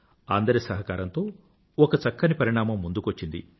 అందరి సహకారంతో ఒక చక్కని పరిణామం ముందుకొచ్చింది